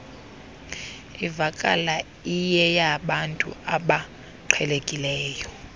ivakala iyeyabantu abaqhelekileyo